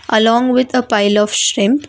along with a pile of shrimp.